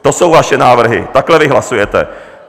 To jsou vaše návrhy, takhle vy hlasujete.